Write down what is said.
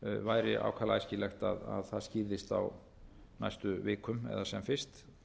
væri ákaflega æskilegt að það skýrðist á næstu vikum eða sem fyrst